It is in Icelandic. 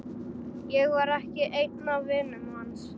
Ég var ekki einn af vinum hans.